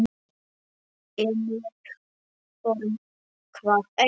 En ég þori það ekki.